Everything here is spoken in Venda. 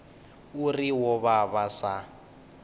uri vho vha vha sa